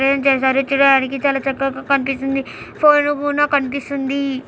ప్రేం జైసా చాలా చక్కగా కనిపిస్తుంది. ఫోరువ్ఞ కూడా కనిపిస్తుంది.